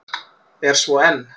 Er svo enn.